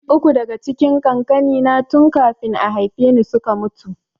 Uku daka cikin kakannina tun kafin a haifeni suka mutu